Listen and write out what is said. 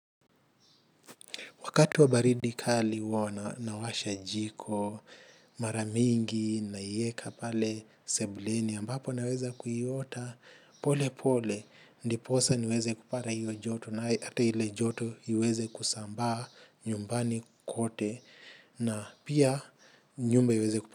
Wakati wa baridi kali huwa na, nawasha jiko, maramingi, naieka pale, sebuleni, ambapo naweza kuiota, pole pole, ndiposa niweze kupata hiyo joto, na hata ile joto iweze kusambaa nyumbani kote, na pia nyumba iweze kupara.